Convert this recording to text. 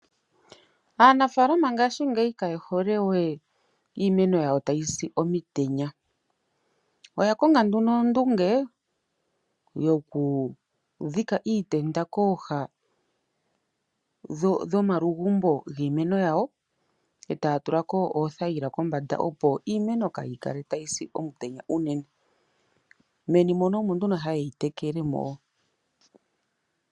Aanafaalama yongashingeyi kaye hole we iimeno yawo tayi si omitenya. Oya konga nduno ondunge yokudhika iitenda kooha dhomalugumbo giimeno, e taa tula ko oothayila kombanda opo iimeno kaa yi kale tayi si komutenya unene. Meni omo nduno haye yi tekele mo.